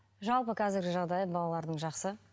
жалпы қазіргі жағдайы балалардың жақсы